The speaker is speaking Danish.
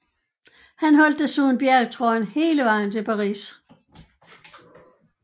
Han holdt desuden bjergtrøjen hele vejen til Paris